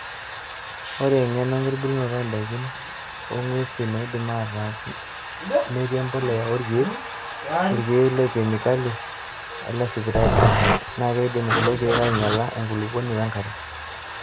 Ore engeno enkitubulunoto oo ndaikin oo ng'wesi neidimi ataas metii empulya oorkiek, irkiek lekemikali olesipitali. Naakeidim kuloo kiek ainyiala enkulupuoni wenkare.